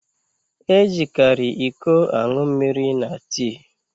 E jikari ịkọ aṅụ mmiri na tii